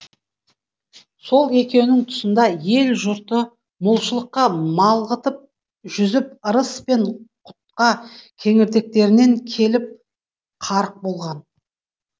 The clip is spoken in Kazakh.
сол екеуінің тұсында ел жұрты молшылыққа малғытып жүзіп ырыс пен құтқа кеңірдектерінен келіп қарық болған